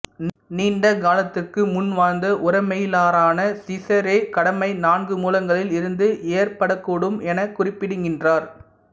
நீண்ட காலத்துக்கு முன் வாழ்ந்த உரோம மெய்யியலாளரான சிசேரோ கடமை நான்கு மூலங்களில் இருந்து ஏற்படக்கூடும் எனக் குறிப்பிடுகின்றார்